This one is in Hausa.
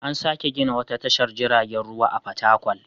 An sake gina wata tashar jiragen ruwa a Fatakwal.